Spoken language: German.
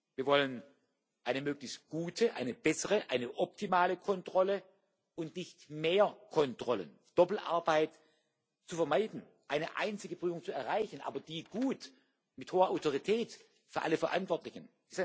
Wir wollen eine möglichst gute, eine bessere, eine optimale Kontrolle und nicht mehr Kontrollen. Es ist ein weiteres Ziel, Doppelarbeit zu vermeiden, eine einzige Prüfung zu erreichen, aber, die gut mit hoher Autorität für alle Verantwortlichen.